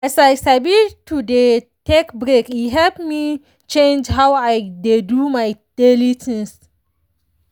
as i sabito dey take break e help me change how i dey do my daily things.